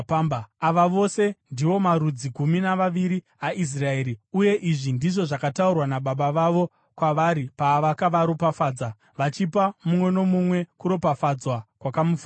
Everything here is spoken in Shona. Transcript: Ava vose ndiwo marudzi gumi namaviri aIsraeri, uye izvi ndizvo zvakataurwa nababa vavo kwavari pavakavaropafadza, vachipa mumwe nomumwe kuropafadzwa kwakamufanira.